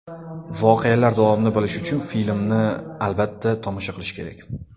Voqealar davomini bilish uchun filmni albatta, tomosha qilish kerak.